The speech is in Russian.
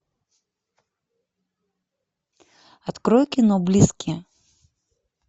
открой кино близкие